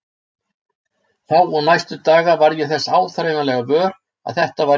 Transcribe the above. Þá og næstu daga varð ég þess áþreifanlega vör að þetta var rétt.